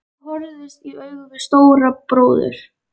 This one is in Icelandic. Ég horfðist í augu við Stóra bróður.